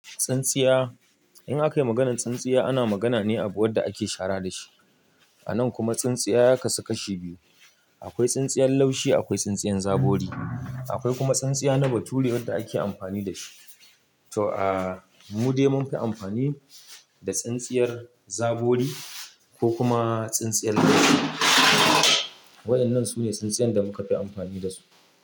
Tsintsiya, in aka yi maganar tsintsiya ana magana ne abu wanda ake shara dashi. A nan kuma tsintsiya ya kasu kashi biyu, akwai tsintsiyar laushi akwai tsintsiyar zabori. Akwai kuma tsintsiya na bature wadda ake amfani dashi. To a mude mun fi amfani da tsintsiyar zabori ko kuma tsintsiyar laushi. Wa'inan sune tsintsiyen da muka fi amfani dasu.